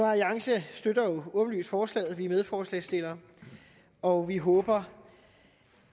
alliance støtter jo åbenlyst forslaget vi er medforslagsstillere og vi håber